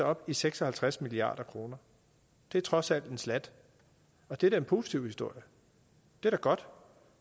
op i seks og halvtreds milliard kroner det er trods alt en slat og det er da en positiv historie det er godt